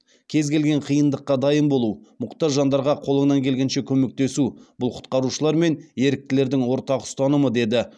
кез келген қиындыққа дайын болу мұқтаж жандарға қолыңнан келгенше көмектесу бұл құтқарушылар мен еріктілердің ортақ ұстанымы деді